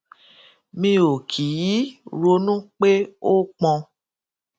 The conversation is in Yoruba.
mi ò kì í ronú pé ó pọn